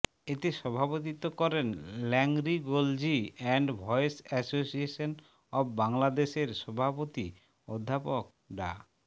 এতে সভাপতিত্ব করেন laryngology and voice association of Bangladesh এর সভাপতি অধ্যাপক ডা